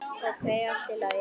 Ókei, allt í lagi.